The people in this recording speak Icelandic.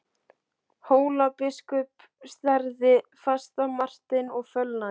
Hólabiskup starði fast á Martein og fölnaði.